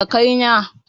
Yau zamu ziyarci surukai na